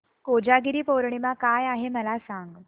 कोजागिरी पौर्णिमा काय आहे मला सांग